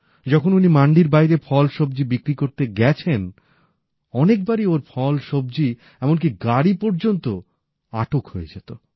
যখন উনি মান্ডির বাইরে ফল ও সবজি বিক্রি করতে গেছেন অনেক বারই ওঁর ফল সবজী এমনকি গাড়ীও আটক হয়ে যেত